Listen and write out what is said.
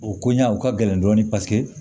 O koɲa o ka gɛlɛn dɔɔnin paseke